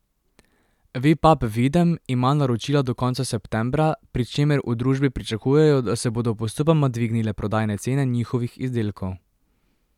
Vipap Videm ima naročila do konca septembra, pri čemer v družbi pričakujejo, da se bodo postopoma dvignile prodajne cene njihovih izdelkov.